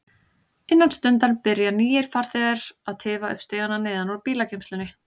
Innan stundar byrja nýir farþegar að tifa upp stigana neðan úr bílageymslunni.